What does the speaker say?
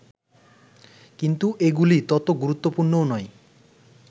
কিন্তু এগুলি তত গুরুত্বপূর্ণও নয়